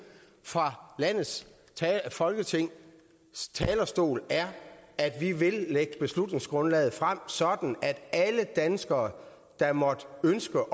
fra folketingets talerstol er at vi vil lægge beslutningsgrundlaget frem så alle danskere der måtte ønske